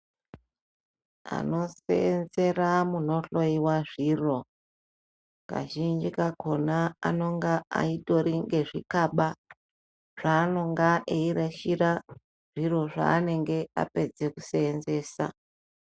Anoseenzera munohloyiwa zviro kazhinji kakhona anonga atori ngezvikaba zvaanonga eirashira zviro zvaanenge apedza kuseenzesa.